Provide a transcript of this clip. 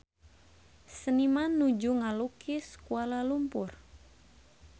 Seniman nuju ngalukis Kuala Lumpur